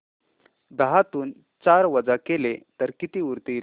दहातून चार वजा केले तर किती उरतील